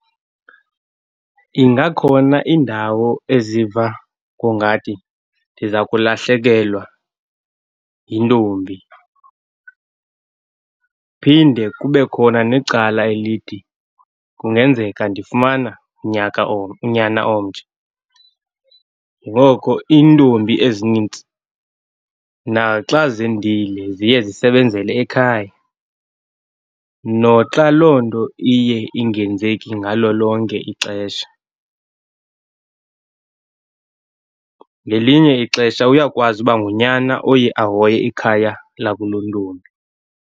Ingakhona indawo eziva ngongathi ndiza kulahlekelwa yintombi, phinde kube khona necala elithi kungenzeka ndifumane unyaka , unyana omtsha. Ngoko iintombi ezinintsi naxa zendile ziye zisebenzele ekhaya, noxa loo nto iye ingenzeki ngalo lonke ixesha. Ngelinye ixesha uyakwazi ukuba ngunyana oye ahoye ikhaya lakulontombi.